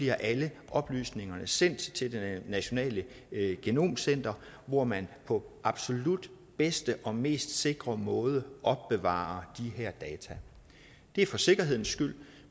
at alle oplysningerne bliver sendt til det nationale genomcenter hvor man på absolut bedste og mest sikre måde opbevarer de her data det er for sikkerhedens skyld